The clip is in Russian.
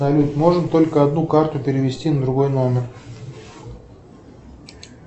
салют можно только одну карту перевести на другой номер